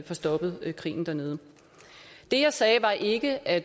få stoppet krigen dernede det jeg sagde var ikke at